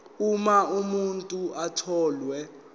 uma umuntu etholwe